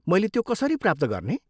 मैले त्यो कसरी प्राप्त गर्ने?